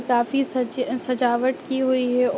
काफी सज सजावट की हुई है।